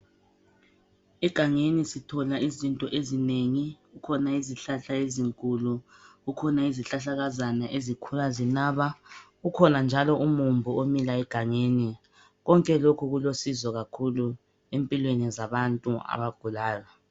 Egangeni sithola izinto ezinengi kukhona izihlahla ezinkulu kukhona izihlahlakazana ezikhula zinaba kukhona njalo umumbu omilayo egangeni konke lokhu kulosizo kakhulu empilweni zabantu abagulayo